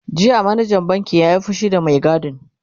jiya manajan bankin ya Yi fushi da Mai gadin